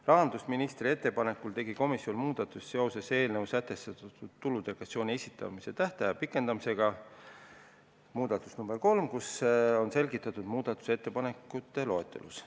Rahandusministri ettepanekul tegi komisjon muudatuse eelnõus sätestatud tuludeklaratsiooni esitamise tähtaja pikendamisega seoses ja seda on selgitatud muudatusettepanekute loetelus.